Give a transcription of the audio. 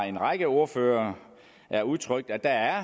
en række ordførere har udtrykt at der